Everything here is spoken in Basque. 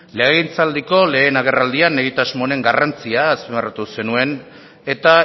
legegintzaldiko lehen agerraldian egitasmo honen garrantzia azpimarratu zenuen eta